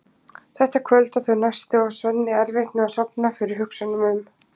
Þetta kvöld og þau næstu á Svenni erfitt með að sofna fyrir hugsunum um